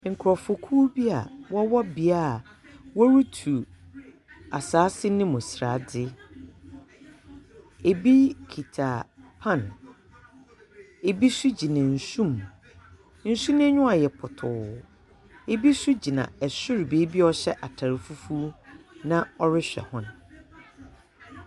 Nkorɔfo kuw bi a, wɔwɔ beae a wɔretu asaase no mu srade. Ebi kita pan. Ebi nso gyina nsu mu. Nsu no aniwa ayɛ pɔtɔɔ. Ebi nso gyina ɛsoro baabi a wɔhyɛ ataade fufuo, na ɔrehwɛ wɔn.